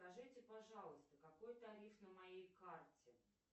скажите пожалуйста какой тариф на моей карте